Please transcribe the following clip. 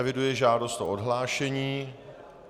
Eviduji žádost o odhlášení.